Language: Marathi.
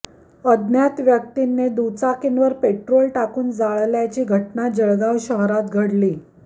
अज्ञात व्यक्तींनी दुचाकींवर पेट्रोल टाकून जाळल्याची घटना जळगाव शहरात घडलीय